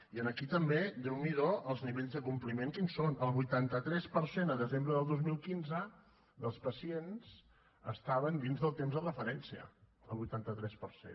i aquí també déu n’hi do els nivells de compliment quins són el vuitanta tres per cent a desembre del dos mil quinze dels pacients estaven dins del temps de referència el vuitanta tres per cent